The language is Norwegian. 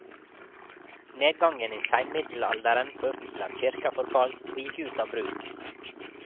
Nedgangen i seinmiddelalderen førte til at kirka forfalt og gikk ut av bruk.